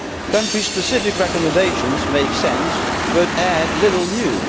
Country specific recommendations make sense but add little new.